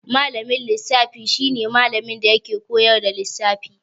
Malamin lissafi shi ne malamin da yake koyar da lissafi.